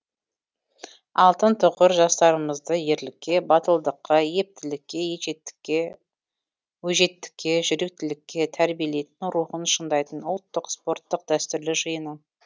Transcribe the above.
алтын тұғыр жастарымызды ерлікке батылдыққа ептілікке өжеттікке жүректілікке тәрбиелейтін рухын шыңдайтын ұлттық спорттың дәстүрлі жиыны